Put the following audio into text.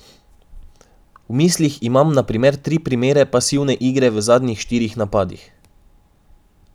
V mislih imam na primer tri primere pasivne igre v zadnjih štirih napadih.